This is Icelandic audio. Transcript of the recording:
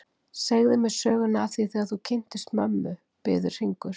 Segðu mér söguna af því þegar þú kynntist mömmu, biður Hringur.